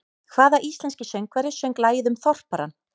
Hvaða íslenski söngvari söng lagið um Þorparann?